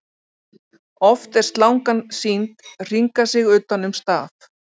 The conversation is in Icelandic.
Oft er slangan sýnd hringa sig utan um staf.